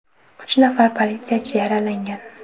Uch nafar politsiyachi yaralangan.